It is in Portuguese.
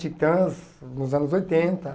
Titãs, nos anos oitenta,